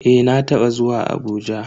Eh na taba zuwa Abuja.